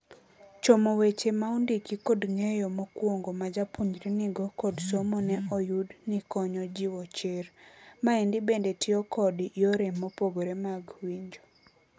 Chomo weche maondiki kod ng'eyo mokwongo ma japuonjre nigo kod somo ne oyud ni konyo jiwo chir. Maendi bende tio kod yore mopogre mag winjo.